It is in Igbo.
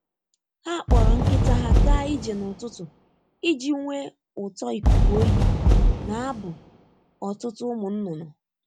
Ha kpọrọ nkịta ha ga ije n'ụtụtụ iji nwee ụtọ ikuku oyi na abụ ụtụtụ ụmụ nnụnụ.